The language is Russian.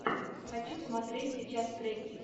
хочу смотреть сейчас треки